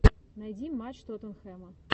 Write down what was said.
найди матч тоттенхэма